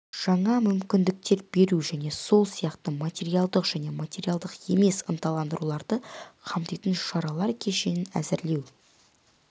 жаңа мүмкіндіктер беру және сол сияқты материалдық және материалдық емес ынталандыруларды қамтитын шаралар кешенін әзірлеуді